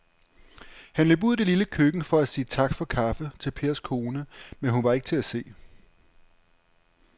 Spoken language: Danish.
Han løb ud i det lille køkken for at sige tak for kaffe til Pers kone, men hun var ikke til at se.